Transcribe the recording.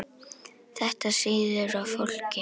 Þetta sýður á fólki